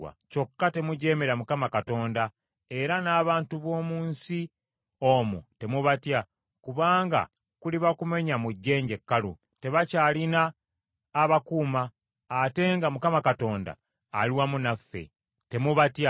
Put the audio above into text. Kyokka temujeemera Mukama Katonda, era n’abantu b’omu nsi omwo temubatya, kubanga kuliba kumenya mu jjenje kkalu; tebakyalina abakuuma, ate nga Mukama Katonda ali wamu naffe. Temubatya.”